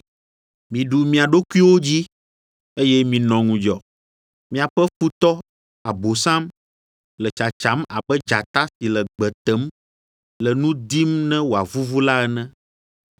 Miɖu mia ɖokuiwo dzi, eye minɔ ŋudzɔ. Miaƒe futɔ, Abosam, le tsatsam abe dzata si le gbe tem, le nu dim ne wòavuvu la ene.